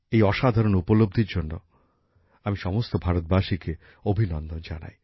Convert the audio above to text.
এই অসাধারণ স্বীকৃতির জন্য আমি সমস্ত ভারতবাসীকে অভিনন্দন জানাই